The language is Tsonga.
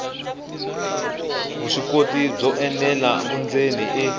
vuswikoti byo enela vundzeni i